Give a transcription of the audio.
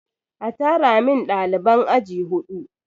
A tara min ɗaliban aji huɗu!